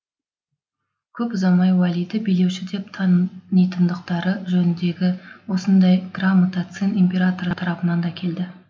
көп ұзамай уәлиді билеуші деп танитындықтары жөніндегі осындай грамота цин императоры тарапынан да келді